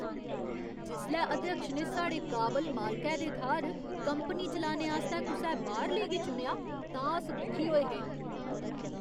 जिसलै अध्यक्ष ने साढ़े काबल मालकै दे थाह्‌र कंपनी चलाने आस्तै कुसै बाह्‌रले गी चुनेआ तां अस दुखी होए हे।